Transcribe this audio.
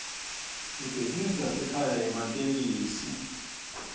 ibhizinisi yasekhaya yematekisi